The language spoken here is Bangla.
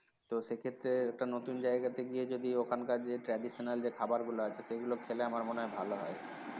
তো সে ক্ষেত্রে একটা নতুন জায়গাতে গিয়ে যদি ওখানকার যে traditional যে খাবারগুলো আছে সেগুলো খেলে আমার মনে হয় ভালো হয়